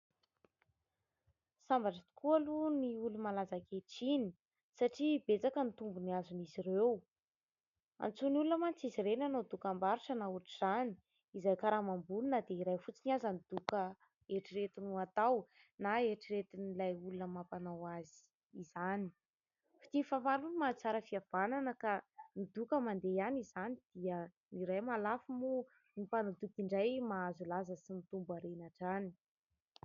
Sambatra tokoa aloha ny olo-malaza ankehitriny satria betsaka ny tombony azon'izy ireo, antsoin'ny olona mantsy izy ireny hanao dokam-barotra na ohatr'izany, izay karama ambony na dia iray fotsiny aza ny doka eritreretiny ho atao na eritreretin'ilay olona mampanao azy izany. Fitia mifamaly hono mahatsara fihavanana ka ny doka mandeha ihany izany dia ny iray mahalafo moa ny mpanao doka indray mahazo laza sy mitombo harena hatrany.